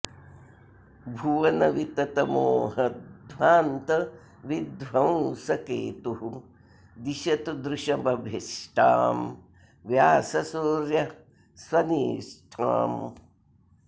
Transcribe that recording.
भुवन वितत मोहध्वान्त विध्वंसकेतुः दिशतु दृशमभीष्टां व्याससूर्यः स्वनिष्ठाम्